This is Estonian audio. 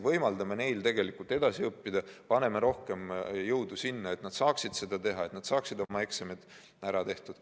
Võimaldame neil tegelikult edasi õppida, paneme rohkem jõudu sinna, et nad saaksid oma eksamid ära tehtud.